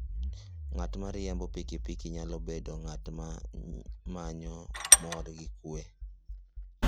Ng'at ma riembo pikipiki nyalo bedo ng'at ma manyo mor gi kuwe.